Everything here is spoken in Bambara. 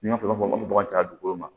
N'a sɔrɔ bɔgɔ tɛ dugukolo ma